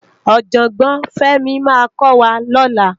Òjògbòn Femi má kò wá lòlá